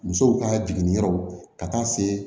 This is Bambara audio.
Musow ka jiginni yɔrɔ ka taa se